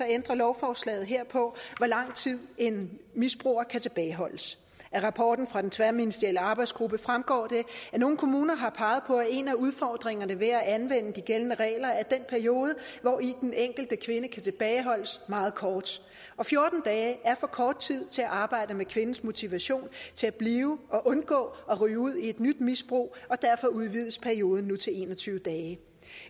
ændrer lovforslaget her på hvor lang tid en misbruger kan tilbageholdes af rapporten fra den tværministerielle arbejdsgruppe fremgår det at nogle kommuner har peget på at en af udfordringerne ved at anvende de gældende regler er den periode hvori den enkelte kvinde kan tilbageholdes meget kort og fjorten dage er for kort tid til at arbejde med kvindens motivation til at blive og undgå at ryge ud i et nyt misbrug og derfor udvides perioden til en og tyve dage